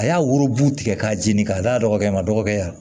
A y'a worobun tigɛ k'a jeni k'a d'a dɔgɔkɛ ma dɔgɔkɛ